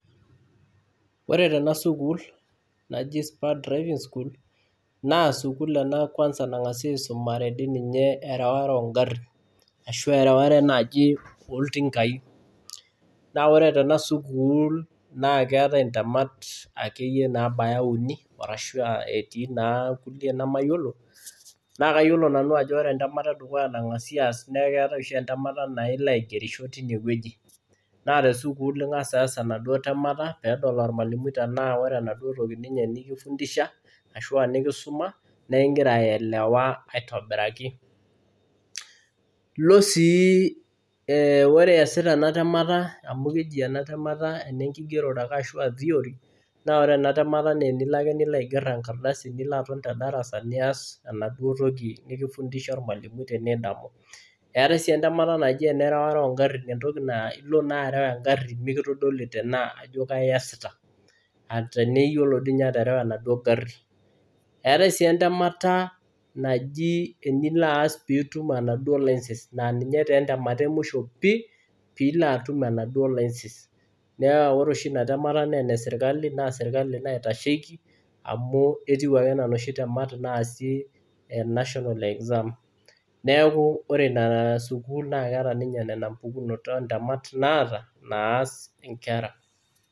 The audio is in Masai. ore tena sukul naa sukul ena naa ore tena sukul naa keetae intemat naara uni ashu etii naa inkulie nemayiolo naa kayiolo nanu ajo ore entemata edukuya nangasi aas neeku keetae oshi entemata naa tesukul , tenaa ore enaduo toki nikifuntisha , ashu aa nikisuma igira aelewa aitobiraki ilo sii ore iyasita ena temata amu keji enetemata enengigerore ashu theory, naa ore enatemata naa tinilo ake niger engardasi nilo aton tedarasa nilo aas enaduotoki nikifusha olmalimui tinidamu, eetae sii endemata naji erawata oo igarin ilo naa areu egari mikitodoli ajo kaji iyasita tenaa iyiolo dii ninye aterewa enaduoo gari etae sii endemata naji enilo aas pee itum enaduoo license, aa ninye taa endemata emusho pii iloatum enaduoo license naa ore oshi inatemata naa sirikali naitasheki neeku etiu enaa inoshi serikali naas inkera.